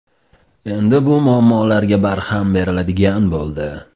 Endi bu muammolarga barham beriladigan bo‘ldi.